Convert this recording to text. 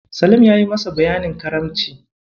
Salim yayi masa bayanin Karamci.